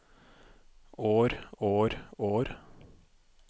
år år år